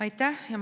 Aitäh!